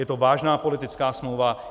Je to vážná politická smlouva.